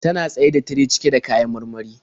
Tana tsaye da tire cike da kayan marmari.